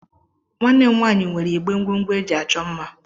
Nwanne m nwaanyị nwere igbé ngwongwo eji achọ mma.